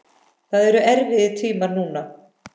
Það eru erfiðir tímar núna.